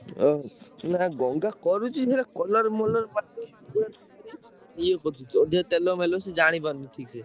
ନା ଗଙ୍ଗା କରୁଚି ହେଲେ colour ମଲର ଇଏ କରିଦଉଚି ଅଧିକା ତେଲ ମେଲ ସିଏ ଜାଣିପାରୁନି ଠିକ୍ ସେ।